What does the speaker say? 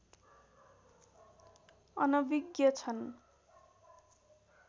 अनविज्ञ छन्